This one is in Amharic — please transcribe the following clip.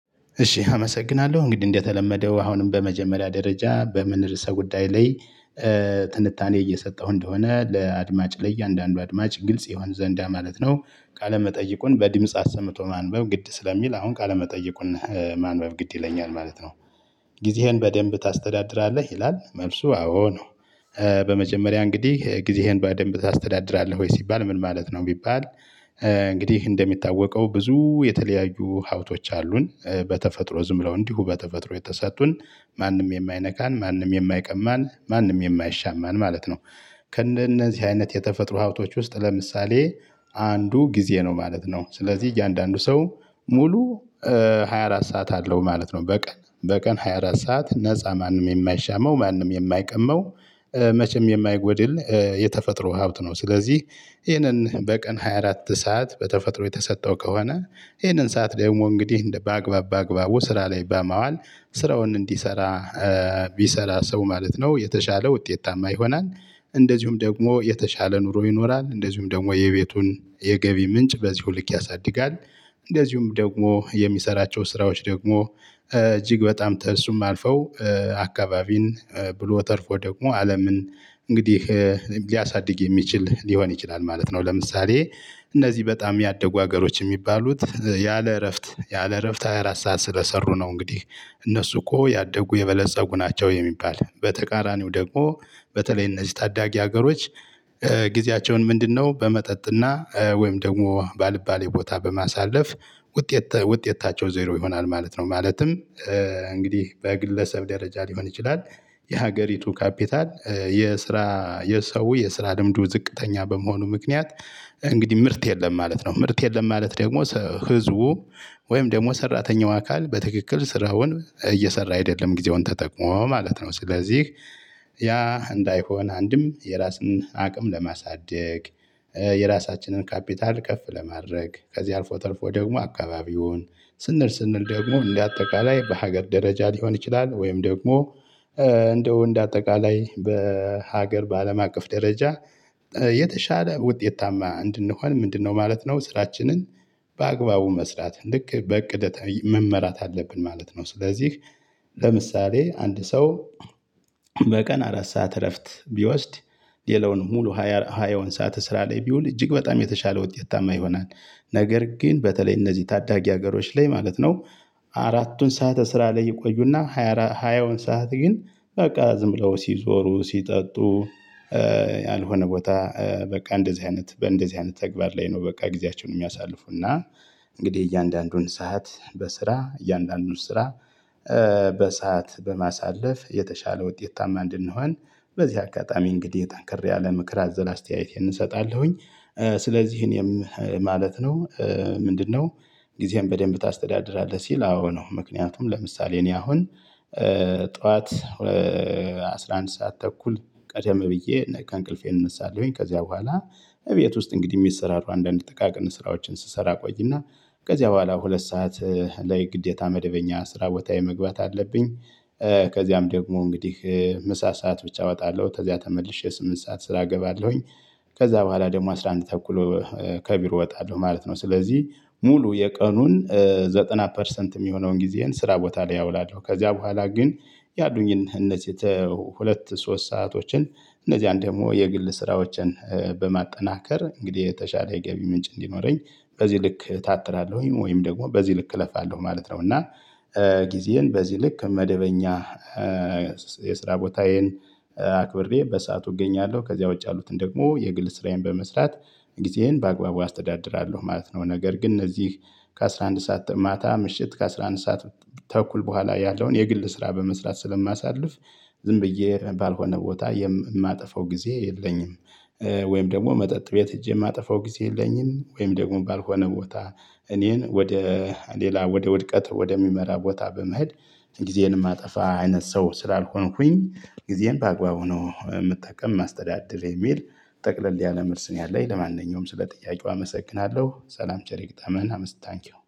እሺ አመሰግናለሁ፤ እንግዲህ እንደተለመደው አሁንም በመጀመሪያ ደረጃ በምን ርዕሰ ጉዳይ ላይ ትንታኔ እየሰጠሁ እንደሆነ ለአድማጭ ለእያንዳንዱ አድማጭ ግልጽ ይሆን ዘንድ ማለት ነው፤ ቃለ መጠይቁን በድምጽ አሰምቶ ማንበብ ግድ ስለሚል፣ አሁን ቃለ መጠይቁን ማንበብ ግድ ይለኛል ማለት ነው። ጊዜህን በደንብ ታስተዳድራለህ? ይላል፤ መልሱ አዎ ነው። በመጀመሪያ እንግዲህ ጊዜህን በደንብ ታስተዳድራለህ ወይ? ሲባል ምን ማለት ነው ለሚባለው፣ እንግዲህ እንደሚታወቀው ብዙ የተለያዩ ሀብቶች አሉን በተፈጥሮ። ዝም ብለው እንዲሁ በተፈጥሮ የተሰጡን፣ ማንም የማይነካን፣ ማንም የማይቀማን፣ ማንም የማይሻማን ማለት ነው። ከእነዚህ አይነት የተፈጥሮ ሀብቶች ውስጥ ለምሳሌ አንዱ ጊዜ ነው ማለት ነው። ስለዚህ እያንዳንዱ ሰው ሙሉ ፳፬ (24) ሰዓት አለው ማለት ነው፤ በቀን ፳፬ (24) ሰዓት ነፃ፣ ማንም የማይሻማው፣ ማንም የማይቀማው መቼም የማይጎድል የተፈጥሮ ሀብት ነው፤ ስለዚህ ይህን በቀን ፳፬ (24) ሰዓት በተፈጥሮ የተሰጠው ከሆነ ይህንን ሰዓት ደግሞ እንግዲህ በአግባብ በአግባቡ ስራ ላይ በማዋል ስራውን እንዲሰራ ቢሠራ ሰው ማለት ነው፣ የተሻለ ውጤታማ ይሆናል፤ እንደዚሁም ደግሞ የተሻለ ኑሮ ይኖራል፤ እንደዚሁም ደግሞ የቤቱን የገቢ ምንጭ በዚሁ ልክ ያሳድጋል፤ እንደዚሁም ደግሞ የሚሠራቸው ስራዎች ደግሞ እጅግ በጣም ከእሱም አልፈው አካባቢን፣ ብሎም ተርፎ ደግሞ አለምን እንግዲህ ሊያሳድግ የሚችል ሊሆን ይችላል ማለት ነው። ለምሳሌ እነዚህ በጣም ያደጉ አገሮች የሚባሉት፣ ያለ እረፍት ያለ እረፍት ፳፬ (24) ሰዓት ስለሠሩ ነው እንግዲህ እነሱ እኮ ያደጉ የበለፀጉ ናቸው የሚባለው፤ በተቃራኒው ደግሞ በተለይ እነዚህ ታዳጊ ሀገሮች ጊዜያቸውን ምንድነው በመጠጥና ወይም ደግሞ ባልባሌ ቦታ በማሳለፍ፣ ውጤት ውጤታቸው ዜሮ ይሆናል ማለት ነው። ማለትም እንግዲህ በግለሰብ ደረጃ ሊሆን ይችላል፤ የአገሪቱ ካፒታል፣ የስራ የሰው የስራ ልምዱ ዝቅተኛ በመሆኑ ምክንያት እንግዲህ ምርት የለም ማለት ነው። ምርት የለም ማለት ደግሞ ሕዝቡ ወይም ደግሞ ሠራተኛው አካል፣ በትክክል ስራውን እየሠራ አይደለም ጊዜውን ተጠቅሞ ማለት ነው። ስለዚህ ያ እንዳይሆን አንድም የራስን አቅም ለማሳደግ የራሳችንን ካፒታል ከፍ ለማድረግ፣ ከዚህ አልፎ ተርፎ ደግሞ አካባቢ ይሁን ስንል ስንል ደግሞ እንደ አጠቃላይ በአገር ደረጃ ሊሆን ይችላል ወይም ደግሞ ንደው እንደ አጠቃላይ በአገር በአለም አቀፍ ደረጃ የተሻለ ውጤታማ እንድንሆን ምንድነው ማለት ነው፣ ስራችንን በአግባቡ መስራት ልክ በእቅድ መመራት አለብን ማለት ነው። ስለዚህ ለምሳሌ አንድ ሰው በቀን አራት ሰዓት እረፍት ቢወስድ፣ ሌላውን ሙሉ ፳ (20) ሀያውን ሰዓት ስራ ላይ ቢያውል እጅግ በጣም የተሻለ ውጤታማ ይሆናል። ነገር ግን በተለይ እነዚህ ታዳጊ አገሮች ላይ ማለት ነው አራቱን ሰዓት ስራ ላይ ይቆዩና ሃያውን ሰዓት ግን በቃ ዝም ብለው ሲዞሩ፣ ሲጠጡ ያልሆነ ቦታ በቃ እንደዚህ አይነት በእንደዚህ አይነት ተግባር ላይ ነው በቃ ጊዜያቸውን የሚያሳልፉ፤ እና እንግዲህ እያንዳንዱን ሰዓት በስራ እያንዳንዱን ስራ በሰአት በማሳለፍ የተሻለ ውጤታማ መሆን ነው። በዚህ አጋጣሚ እንግዲህ ጠንከር ያለ ምክር አዘል አስተያየቴን እሰጣለሁኝ። ስለዚህ ማለት ነው፣ ምንድነው ጊዜህን በደንብ ታስተዳድራለህ? ሲባል አዎ ነው፤ ምክንያቱም ለምሳሌ እኔ አሁን ጠዋት ፲፩ (11) ሰዓት ተኩል ቀደም ብዬ እንቅልፌን እነሣለሁኝ፤ ከዚያ በኋላ ቤት ውስጥ እንግዲህ የሚሰሩ አንዳንድ ጥቃቅን ስራዎችን ስሰራ እቆይና ከዚያ በኋላ ሁለት ሰዓት ላይ ግዴታ መደበኛ የስራ ቦታ መግባት አለብኝ። ከዚያም ደግሞ እንግዲህ ምሳ ሰዓት ብቻ እወጣለሁ፤ ከዚያ ተመልሼ ስምንት ሰዓት ስራ እገባለሁኝ። ከዚያ በኋላ ደግሞ ፲፩ (11) ተኩል ከቢሮ እወጣለሁ ማለት ነው። ስለዚህ ሙሉ የቀኑን 90% (ዘጠና ፐርሰንት) የሚሆነውን ጊዜዬን ስራ ቦታ ላይ አውላለሁ፤ ከዚያ በኋላ ግን ያሉኝን እነዚህ ሁለት ሶስት ሰአቶችን፣ እነዚህ አንደኛ ደግሞ የግል ስራዎችን በማጠናከር እንግዲህ የተሻለ የገቢ ምንጭ እንዲኖረኝ በዚህ ልክ እታትራለሁኝ፣ ወይም ደግሞ በዚህ ልክ እለፋለሁ ማለት ነው፤ እና ጊዜዬን በዚህ ልክ መደበኛ የስራ ቦታዬን አክብሬ በሰአቱ እገኛለሁ፤ ከዚያ ውጭ ያሉትን ደግሞ የግል ስራዬን በመስራት ጊዜዬን በአግባቡ አስተዳድራለሁ ማለት ነው። ነገር ግን እነዚህ ከ፲፩ (11) ሰዓት ማታ ምሽት ከ፲፩ (11) ሰዓት ተኩል በኋላ ያለውን የግል ስራ በመስራት ስለማሳልፍ ዝም ብዬ ባልሆነ ቦታ የማጠፋው ጊዜ የለኝም፤ ወይም ደግሞ መጠጥ ቤት ሄጄ የማጠፋው ጊዜ የለኝም፤ ወይም ደግሞ ባልሆነ ቦታ እኔን ወደ ሌላ ወደ ውድቀት ወደሚመራ ቦታ በመሄድ ጊዜን የማጠፋ አይነት ሰው ስላልሆንኩኝ፣ ጊዜን በአግባቡ ነው የምጠቀም ማስተዳደር የሚል ጠቅለል ያለ መልስ ነው ያለኝ። ለማንኛውም ስለ ጥያቄው አመሰግናለሁ፤ ሰላም ቸር ይግጠመን፤ አመሰግናለሁ፣ ታንኪው!